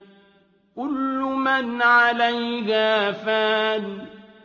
كُلُّ مَنْ عَلَيْهَا فَانٍ